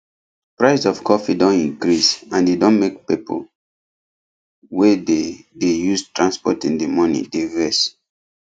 price of coffee don increase and e don make people wey dey dey use transport in the morning dey vex